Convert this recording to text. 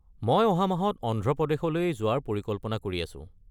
মই অহা মাহত অন্ধ্ৰ প্ৰদেশলৈ যোৱাৰ পৰিকল্পনা কৰি আছো।